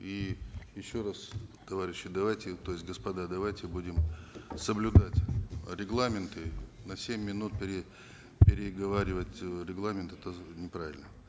и еще раз товарищи давайте то есть господа давайте будем соблюдать регламент и на семь минут переговаривать э регламент это неправильно